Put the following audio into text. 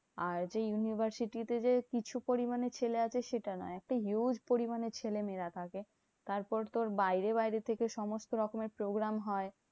আর যে university তে যে কিছু পরিমানে ছেলে আসে সেটা না। একটা huge পরিমানে ছেলেমেয়েরা থাকে। তারপর তোর বাইরে বাইরে থেকে সমস্ত রকমের program হয়।